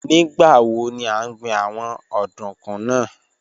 Nigbawo ni a n gbin awọn ọdunkun naa?